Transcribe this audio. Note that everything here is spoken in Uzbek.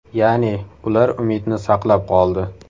Ya’ni, ular umidni saqlab qoldi.